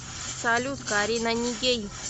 салют карина нигей